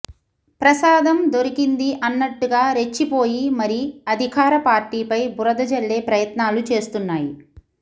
ప్రసాదం దొరికింది అన్నట్టుగా రెచ్చిపోయి మరి అధికార పార్టీపై బురద జల్లే ప్రయత్నాలు చేస్తున్నాయి